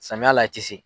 Samiya la a ti se